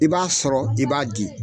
I b'a sɔrɔ i b'a di.